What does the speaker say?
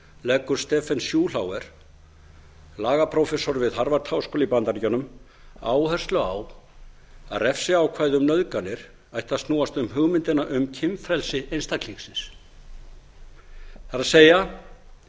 leggur stephen schulhofer lagaprófessor við harvard háskóla í bandaríkjunum áherslu á að refsiákvæði um nauðganir ættu að snúast um hugmyndina um kynfrelsi einstaklingsins það er